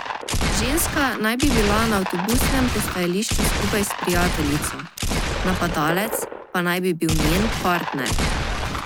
Ženska naj bi bila na avtobusnem postajališču skupaj s prijateljico, napadalec pa naj bi bil njen partner.